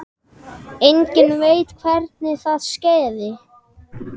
Enginn veit hvernig það skeði.